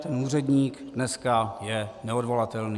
Ten úředník dneska je neodvolatelný.